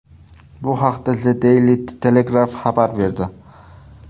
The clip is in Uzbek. Bu haqda The Daily Telegraph xabar berdi .